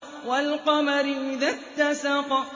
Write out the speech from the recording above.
وَالْقَمَرِ إِذَا اتَّسَقَ